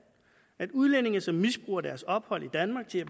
at udlændinge som misbruger deres ophold i danmark til at